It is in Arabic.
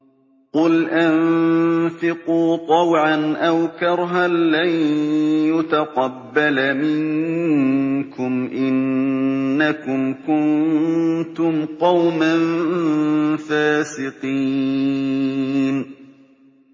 قُلْ أَنفِقُوا طَوْعًا أَوْ كَرْهًا لَّن يُتَقَبَّلَ مِنكُمْ ۖ إِنَّكُمْ كُنتُمْ قَوْمًا فَاسِقِينَ